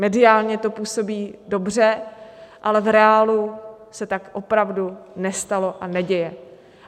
Mediálně to působí dobře, ale v reálu se tak opravdu nestalo a neděje.